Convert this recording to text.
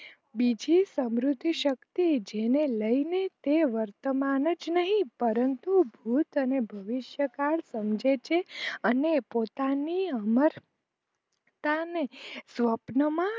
બીજી સમૃદ્ધિ શક્તિ જેને લઈને તે વર્તમાન જ નહીં પરંતુ ભૂત અને ભવિષ્યકાલ સમજે છે અને પોતાની અમરતાને સ્વપનોમાં